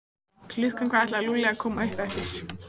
Klukkan hvað ætlaði Lúlli að koma upp eftir?